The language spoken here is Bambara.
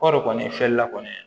Kɔɔri kɔni filɛlila kɔni